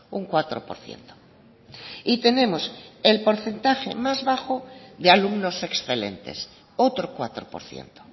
un cuatro por ciento y tenemos el porcentaje más bajo de alumnos excelentes otro cuatro por ciento